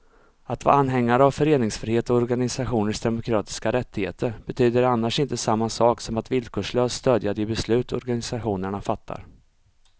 Att vara anhängare av föreningsfrihet och organisationers demokratiska rättigheter betyder annars inte samma sak som att villkorslöst stödja de beslut organisationerna fattar.